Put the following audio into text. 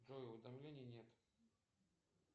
джой уведомлений нет